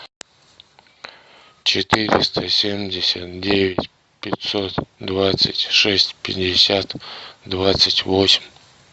четыреста семьдесят девять пятьсот двадцать шесть пятьдесят двадцать восемь